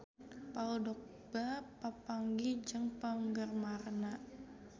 Paul Dogba papanggih jeung penggemarna